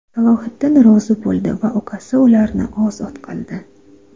Salohiddin rozi bo‘ldi va ukasi ularni ozod qildi.